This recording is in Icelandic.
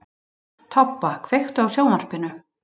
Tobba, kveiktu á sjónvarpinu.